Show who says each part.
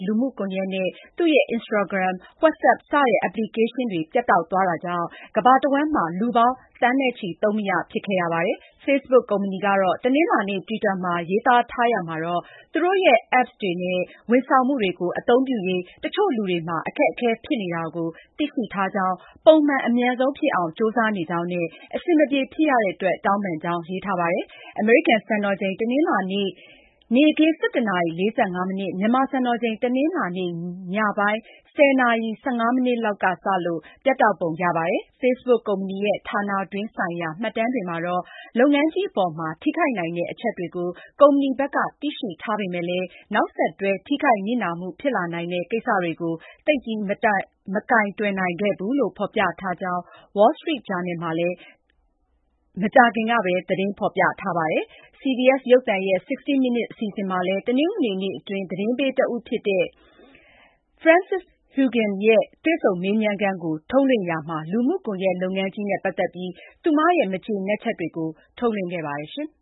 Speaker 1: လူမှုကွန်ရက် Facebook နဲ့ အတူ သူ့ရဲ့ Instagram နဲ့ WhatsApp စာမျက်နှာတွေ ပြတ်တောက်သွားတာကြောင့် ကမ ္ဘာတဝန်းမှာ လူပေါင်း သန်းချီ Facebook သုံးမရ ဖြစ်သွားပါတယ်။ Facebook ကုမ္ပဏီက တနလာၤနေ့ တွစ်တာမှာ ရေးသားထားတာမှာတော့ သူတို့ရဲ့ apps တွေနဲ့ ဝန်ဆောင်မှုတွေကို အသုံးပြုရေး တချို့ လူတွေမှာ အခက်အခဲ ဖြစ်နေတာကို သိရှိထားကြောင်း၊ ပုံမှန် အမြန်ဆုံးဖြစ်အောင် ကြိုးစားနေကြောင်းနဲ့ အဆင်မပြေဖြစ်ရတဲ့ အတွက် တောင်းပန်ကြောင်း ရေးထားပါတယ်။ အမေရိကန် စံတော်ချိန် တနလာၤနေ့ နေ့ခင်း ၁၁ နာရီ ၄၅ မိနစ် ၊ မြန်မာ စံတော်ချိန် တနလာၤနေ့ ညပိုင်း ၁၀ နာရီ ၁၅ မိနစ်လောက်က စလို့ ပြတ်တောက်ပုံ ရပါတယ်။ Facebook ကုမ္ပဏီရဲ့ ဌာနတွင်း ဆိုင်ရာ မှတ်တမ်းတွေမှာတော့ လုပ်ငန်းကြီး အပေါ်မှာ ထိခိုက်နိုင်တဲ့ အချက်တွေကို ကုမ္ပဏီဘက်က သိရှိထားပေမယ့်လည်း နောက်ဆက်တွဲ ထိခိုက်နစ်နာမှု ဖြစ်လာနိုင်တဲ့ ကိစ္စတွေကို သိပ်ပြီး မကိုင်တွယ်နိုင်ခဲ့ဘူးလို့ ဖော်ပြထားကြောင်း Wall Street Journal က မကြာခင်ကဘဲ သတင်းဖော်ပြထားပါတယ်။ CBS ရုပ်သံရဲ့ 60 Minutes အစီအစဉ်မှာလည်း တနင်္ဂနွေနေ့က အတွင်း သတင်းပေး တဦး ဖြစ်တဲ့ Frances Haugen နဲ့ တွေ့ဆုံမေးမြန်းခန်းကို ထုတ်လွှင့်တာမှာ လူမှုကွန်ရက် လုပ်ငန်းကြီးနဲ့ ပတ်သက်ပြီး သူမရဲ့ မကျေနပ်ချက်တွေကို ထုတ်လွှင့်ခဲ့ပါတယ်။ အင်္